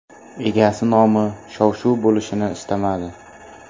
Egasi nomi shov-shuv bo‘lishini istamadi.